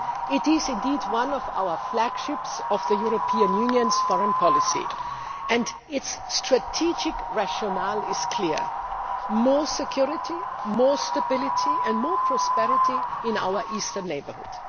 It is one of the flagships of the European Union's foreign policy, and its strategic rationale is clear more security, more stability and more prosperity in our eastern neighbourhood.